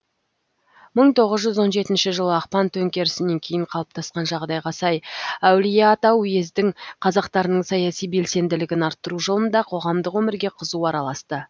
мың тоғыз жүз он жетінші жылы ақпан төңкерісінен кейін қалыптасқан жағдайға сай әулиеата уездің қазақтарының саяси белсенділігін арттыру жолында қоғамдық өмірге қызу араласты